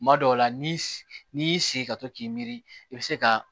Kuma dɔw la ni y'i sigi ka to k'i miiri i be se ka